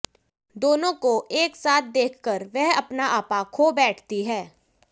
दोनों को एक साथ देखकर वह अपना आपा खो बैठती है